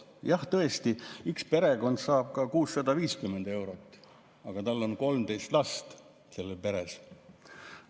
Jah, tõesti, üks perekond saab 650 eurot, aga selles peres on 13 last.